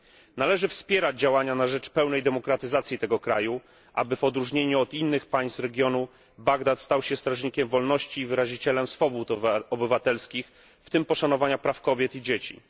Należy wspierać działania na rzecz pełnej demokratyzacji tego kraju, aby, w odróżnieniu od innych państw regionu, Bagdad stał się strażnikiem wolności i wyrazicielem swobód obywatelskich, w tym poszanowania praw kobiet i dzieci.